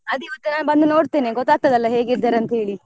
ಅದೆ ಇವತ್ತು ನಾನ್ ಬಂದು ನೋಡ್ತೇನೆ ಗೊತ್ತಾಗ್ತಾದಲ್ಲ ಹೇಗಿದ್ದಾರೆ ಅಂತೇಳಿ.